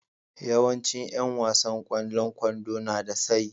Yawancin yan wasan kwallon kwando na da tsayi.